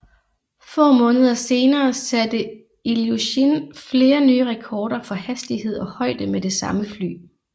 Få måneder senere satte Iljushin flere nye rekorder for hastighed og højde med det samme fly